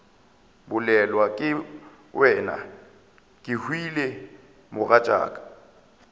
bolelwa ke wena kehwile mogatšaka